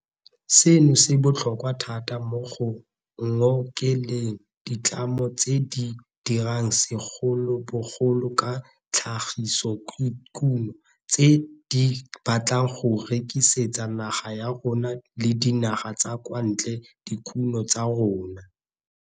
Seno se botlhokwa thata mo go ngokeleng ditlamo tse di dirang segolobogolo ka tlhagisodikuno tse di batlang go rekisetsa naga ya rona le dinaga tsa kwa ntle dikuno tsa tsona.